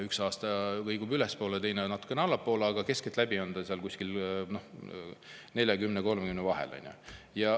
Üks aasta kõigub ülespoole ja teine aasta natukene allapoole, aga keskeltläbi on ta seal kuskil 30% ja 40% vahel, on ju.